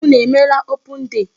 Unu emeela open day?